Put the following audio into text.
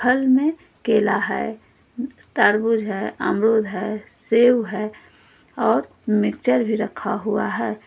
फल मे केला है तरबूज है अमरुद है सेव है और मिक्चर भी रखा हुआ है।